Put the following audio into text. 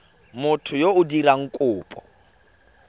motho yo o dirang kopo